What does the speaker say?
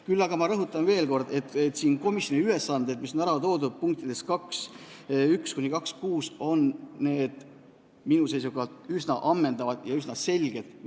Küll aga rõhutan veel kord, et komisjoni ülesanded, mis on ära toodud punktides 2.1–2.6, on minu seisukohalt üsna ammendavad ja selged.